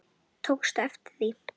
Tókstu eftir því?